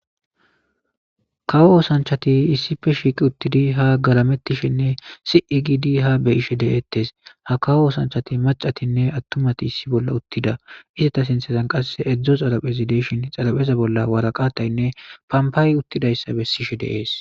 kawo osanchati issife shiiqi uttidi ha garamettishinne sii giidi ha beyishe deeettes ha kawo osanchati macatinne attumati issi bolla uttida isata sinthezan qasse edzdzo xarapezi deishin xarapeza bolla waraqataynne pampaay uttidayssabe sishe deees